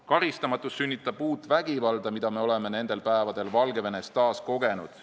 Karistamatus sünnitab uut vägivalda, mida me oleme nendel päevadel Valgevenes taas kogenud.